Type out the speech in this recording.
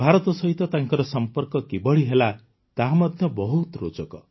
ଭାରତ ସହିତ ତାଙ୍କର ସମ୍ପର୍କ କିଭଳି ହେଲା ତାହା ମଧ୍ୟ ବହୁତ ରୋଚକ